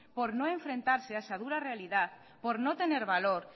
por no enfrentarse a esa dura realidad por no tener valor